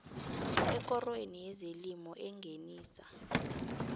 ekorweni yezelimo engenisa